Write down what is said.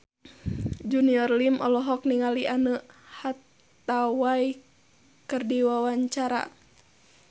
Junior Liem olohok ningali Anne Hathaway keur diwawancara